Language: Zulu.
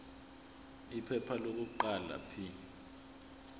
iphepha lokuqala p